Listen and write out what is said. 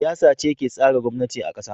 Siyasa ce ke tsara gwamnati a kasa.